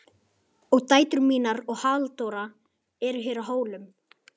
Og dætur mínar og Halldóra eru hér á Hólum.